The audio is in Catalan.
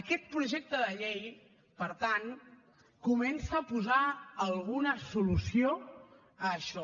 aquest projecte de llei per tant comença a posar alguna solució a això